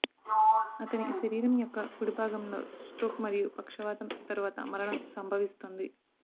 అతని శరీరం యొక్క కుడి భాగంలో స్ట్రోక్ మరియు పక్షవాతం తరువాత మరణం సంభవిస్తుంది